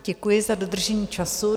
Děkuji za dodržení času.